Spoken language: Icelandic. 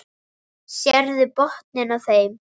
Sérðu botninn á þeim.